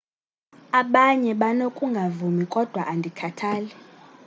abanye banokungavumi kodwa andikhathali